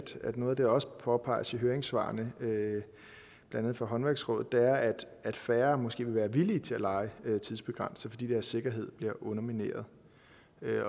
at noget af det der også påpeges i høringssvarene blandt det fra håndværksrådet er at færre måske vil være villige til at leje tidsbegrænset fordi deres sikkerhed bliver undermineret